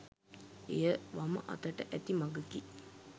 එය වම අතට ඇති මඟකි